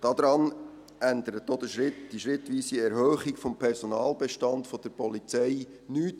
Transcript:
Daran ändert auch die schrittweise Erhöhung des Personalbestands der Polizei nichts.